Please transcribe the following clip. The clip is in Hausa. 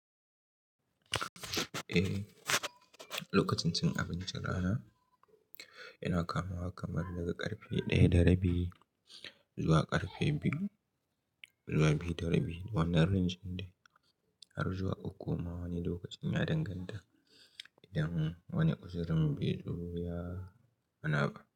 Eh, lokacin cin abincin rana yana kamawa kamar daga karfe ɗaya da rabi zuwa karfe biyu zuwa biyu da rabi. Wannan range din dai har zuwa uku ma wani lokacin ya danganta idan wani kusurin biyu ruya ana ba.